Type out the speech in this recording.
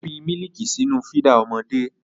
Ó fi mílíìkì sínú fídà ọmọdé.